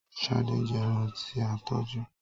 Ṣadé jẹ ẹran tí a tọ́jú.